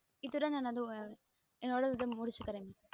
இத்துடன் எனது ஏனோடத முடிசுக்றேன்